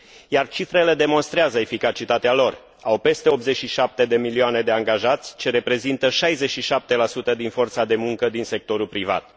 Iar cifrele demonstrează eficacitatea lor au peste 87 de milioane de angajați, ce reprezintă 67 din forța de muncă din sectorul privat.